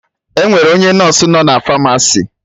Enwere onye nọsụ nọ na Famasi